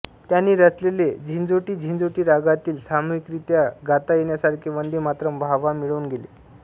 त्यांनी रचलेले झिंजोटीझिंझोटी रागातील सामूहिकरीत्या गाता येण्यासारखे वंदे मातरम् वाहवा मिळवून गेले